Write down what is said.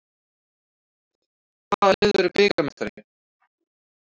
Hvaða lið verður bikarmeistari?